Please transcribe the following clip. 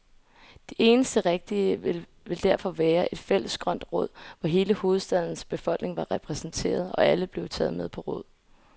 Det eneste rigtige ville derfor være et fælles grønt råd, hvor hele hovedstadens befolkning var repræsenteret, og alle blev taget med på råd.